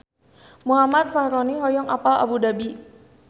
Muhammad Fachroni hoyong apal Abu Dhabi